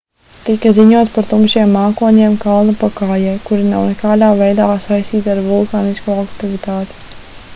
tika ziņots par tumšiem mākoņiem kalna pakājē kuri nav nekādā veidā saistīti ar vulkānisko aktivitāti